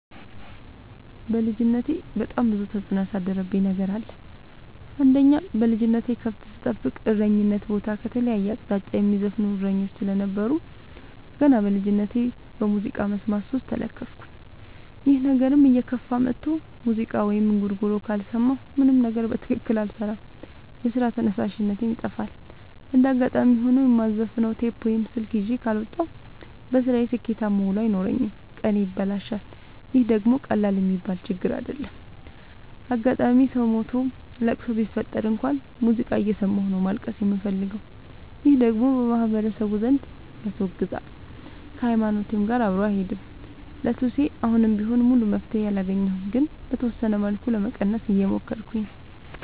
በልጅነቴ በጣም ብዙ ተጽዕኖ ያሳደረብኝ ነገር አለ። አንደኛ በልጅነቴ ከብት ስጠብቅ እረኝነት ቦታ ከተለያየ አቅጣጫ የሚዘፍኑ እሰኞች ስለነበሩ። ገና በልጅነቴ በሙዚቃ መስማት ሱስ ተለከፍኩኝ ይህ ነገርም እየከፋ መጥቶ ሙዚቃ ወይም እንጉርጉሮ ካልሰማሁ ምንም ነገር በትክክል አልሰራም የስራ ተነሳሽነቴ ይጠፋል። እንደጋጣሚ ሆኖ የማዘፍ ነው ቴፕ ወይም ስልክ ይዤ ካልወጣሁ። በስራዬ ስኬታማ ውሎ አይኖረኝም ቀኔ ይበላሻል ይህ ደግሞ ቀላል የሚባል ችግር አይደለም። አጋጣም ሰው ሞቶ ለቅሶ ቢፈጠር እንኳን ሙዚቃ እየሰማሁ ነው ማልቀስ የምፈልገው ይህ ደግሞ በማህበረሰቡ ዘንድ ያስወግዛል። ከሀይማኖቴም ጋር አብሮ አይሄድም። ለሱሴ አሁንም ቢሆን ሙሉ መፍትሔ አላገኘሁም ግን በተወሰነ መልኩ ለመቀነስ እየሞከርኩ ነው።